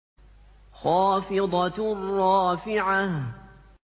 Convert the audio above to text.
خَافِضَةٌ رَّافِعَةٌ